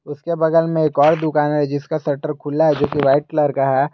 उसके बगल में एक और दुकान है जिसका शटर खुला है जो कि व्हाइट कलर का है।